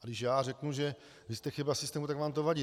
A když já řeknu, že vy jste chyba systému, tak vám to vadí!